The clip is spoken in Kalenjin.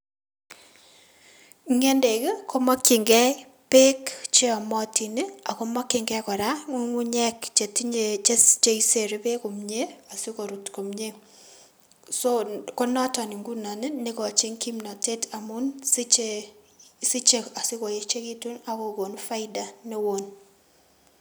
Ng'endek ii komokyingei beek cheomotin ii akomokyingei kora ng'ung'unyek chetinye cheisere beek komie asikorut komie so konoton ngunon nekochin kimnotet amun siche siche asikoechekitun ak kokon faida newon.